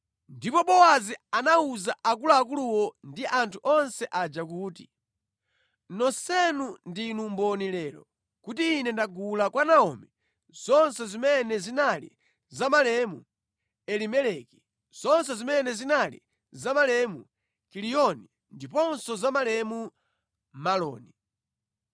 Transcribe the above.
Ndipo Bowazi anawuza akuluakuluwo ndi anthu onse aja kuti, “Nonsenu ndinu mboni lero, kuti ine ndagula kwa Naomi zonse zimene zinali za malemu Elimeleki, zonse zimene zinali za malemu Kiliyoni ndiponso za malemu Maloni.